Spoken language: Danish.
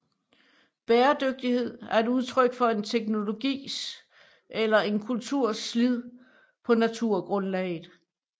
Bæredygtighed er et udtryk for en teknologis eller en kulturs slid på naturgrundlaget